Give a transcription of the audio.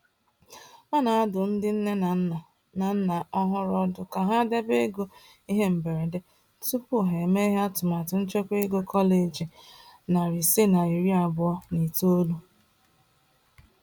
A na-adụ ndị nne na nna na nna ọhụrụ ọdụ ka ha debe ego ihe mberede tupu ha emeghe atụmatụ nchekwa ego kọleji 529.